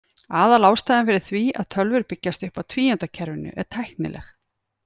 Aðalástæðan fyrir því að tölvur byggjast upp á tvíundakerfinu er tæknileg.